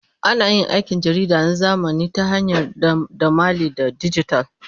Ana yin aikin jarida na zamani ta hanyar dandamali na dijital.